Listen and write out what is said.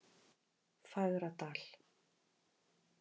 Fagradal